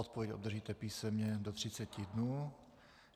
Odpověď obdržíte písemně do 30 dnů.